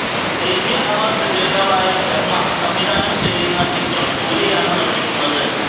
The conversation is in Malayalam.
ദേശീയ അവാര്ഡ് ജേതാവായ ബ്രഹ്മ സംവിധാനം ചെയ്യുന്ന ഈ ചിത്രം സൂര്യയാണ് നിര്മ്മിക്കുന്നത്